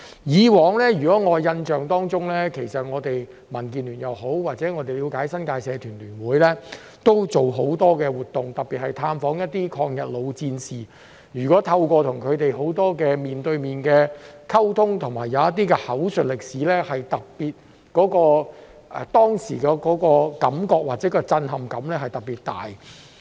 在我的印象中，其實我們民建聯也好，或據我們了解，新界社團聯會亦曾舉辦很多活動，特別是探訪一些抗日老戰士，透過與他們面對面的溝通及口述歷史，當時的感覺或震撼感是特別大的。